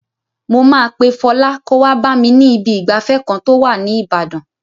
Mo máa pe Fọlá kó wá bá mi ní ibi ìgbafẹ́ kan tó wà ní Ibadan.